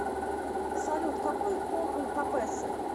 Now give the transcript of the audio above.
салют какой пол у папесса